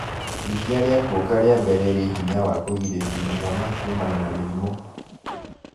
Iria rĩa kuonga rĩambere rĩ-hinya wa kũgirĩrĩria mwana kuumana na mĩrimũ